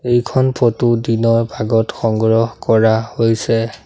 এইখন ফটো দিনৰ ভাগত সংগ্ৰহ কৰা হৈছে।